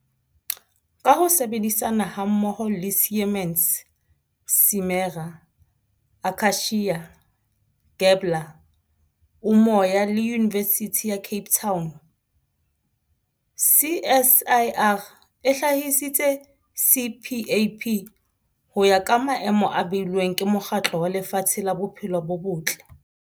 Ka ho sebedisana hammoho le Siemens, Simera, Akacia, Gabler, Umoya le Yunivesithi ya Cape Town, CSIR e hlahisitse CPAP ho ya ka maemo a beilweng ke Mokgatlo wa Lefatshe wa Bophelo bo Botle.